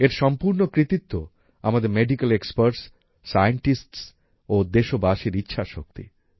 এর সম্পূর্ণ কৃতিত্ব আমাদের মেডিক্যাল এক্সপার্টস সায়েন্টিস্টস ও দেশবাসীর ইচ্ছাশক্তি